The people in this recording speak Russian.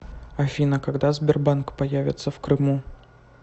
афина когда сбербанк появится в крыму